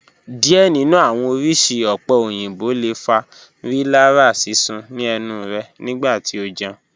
Diẹ ninu awọn oriṣi ope oyinbo le fa rilara sisun ni ẹnu rẹ nigbati o jẹun